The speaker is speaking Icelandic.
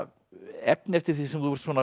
efni eftir þig sem þú ert